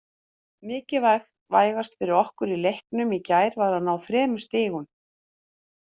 Mikilvægast fyrir okkur í leiknum í gær var að ná þremur stigum.